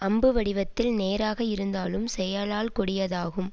அம்பு வடிவத்தில் நேராக இருந்தாலும் செயலால் கொடியதாகும்